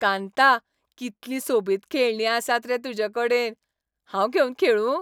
कांता, कितलीं सोबीत खेळणीं आसात रे तुजे कडेन. हांव घेवन खेळूं?